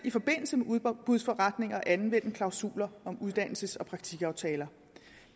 i forbindelse med udbudsforretninger at anvende klausuler om uddannelses og praktikaftaler